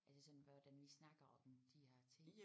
Er det sådan hvordan vi snakker om de her ting